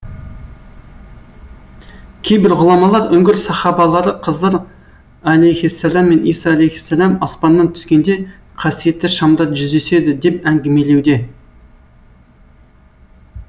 кейбір ғұламалар үңгір сахабалары қызыр әлейһиссалам мен иса әлейһиссалам аспаннан түскенде қасиетті шамда жүздеседі деп әңгімелеуде